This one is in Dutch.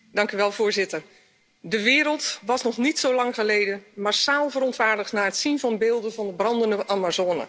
Voorzitter, de wereld was nog niet zo lang geleden massaal verontwaardigd na het zien van beelden van de brandende Amazone.